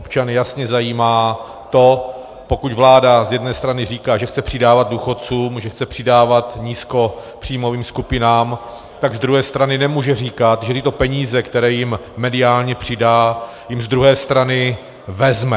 Občany jasně zajímá to, pokud vláda z jedné strany říká, že chce přidávat důchodcům, že chce přidávat nízkopříjmovým skupinám, tak z druhé strany nemůže říkat, že tyto peníze, které jim mediálně přidá, jim z druhé strany vezme.